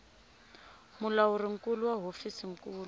mulawuri nkulu wa hofisi nkulu